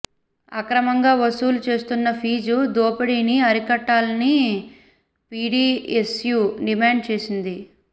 అక్రమంగా వసూలు చేస్తున్న ఫీజు దోపిడీని అరికట్టాలని పీడీఎస్యూ డిమాండ్ చేసింది